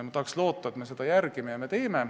Ma tahan loota, et me seda järgime ja nii teeme.